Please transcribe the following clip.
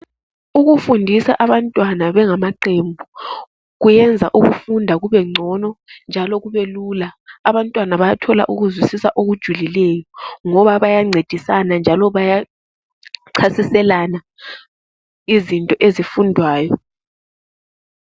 ukufundisa abantwana bengamaqembu kuyenza ukufunda kube ncono njalo kubelula abantwana bayathola ukuzwisisa okujulileyo ngoba bayancedisana njalo bayachasiselana izinto ezifundwayo